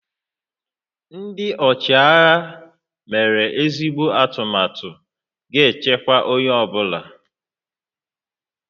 Ndị ọchịagha mere ezigbo atụmatụ ga-echekwa onye ọ bụla